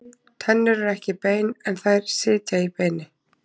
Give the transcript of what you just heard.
Tennur eru ekki bein, en þær sitja í beini.